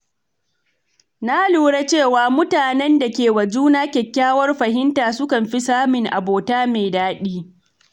Na lura cewa mutanen da ke wa juna kyakkyawar fahimta sukan fi samun abota mai daɗi.